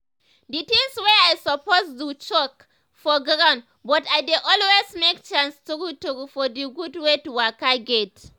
d tinz wey i suppose do choke for ground but i dey always make chance true true for d gud wey to waka get.